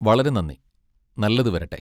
വളരെ നന്ദി. നല്ലത് വരട്ടെ.